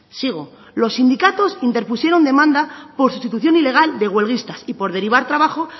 sigo los sindicatos interpusieron demanda por sustitución ilegal de huelguistas y pos derivar trabajo